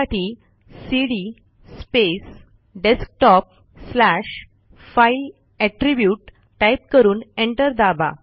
त्यासाठी cd space desktop slash file attribute type करून enter दाबा